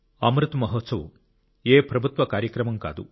అమృత్ మహోత్సవ్ ఏ ప్రభుత్వ కార్యక్రమం కాదు